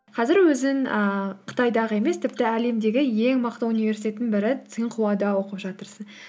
қазір өзің ііі қытайдағы емес тіпті әлемдегі ең мықты университеттің бірі цинхуада оқып жатырсың